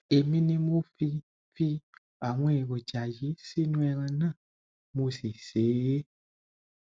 èmi ni mo fi fi àwọn èròjà yìí sínú ẹran náà mo sì sè é